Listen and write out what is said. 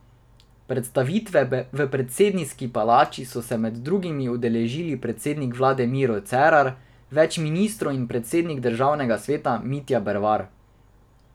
Predstavitve v predsedniški palači so se med drugimi udeležili predsednik vlade Miro Cerar, več ministrov in predsednik državnega sveta Mitja Bervar.